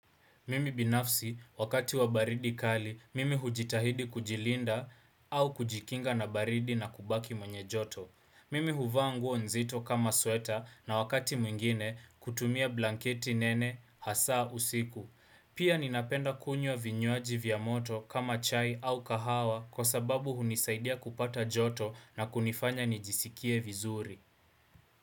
Mimi binafsi, wakati wa baridi kali, mimi hujitahidi kujilinda au kujikinga na baridi na kubaki mwenye joto. Mimi huvaa nguo nzito kama sweta na wakati mwingine kutumia blanketi nene, hasaa usiku. Pia ninapenda kunywa vinywaji vya moto kama chai au kahawa kwa sababu hunisaidia kupata joto na kunifanya nijisikie vizuri.